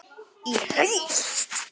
Í haust?